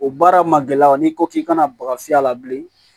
O baara ma gɛlɛya n'i ko k'i kana baga fiyɛ a la bilen